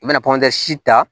I bɛna pɔndisi ta